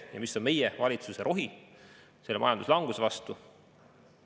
Ja mis on meie valitsuse rohi selle majanduslanguse vastu?